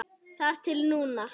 Þar til núna.